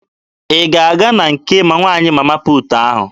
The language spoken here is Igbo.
Ị ga-aga na nke nwaanyị Mama puutu ahụ?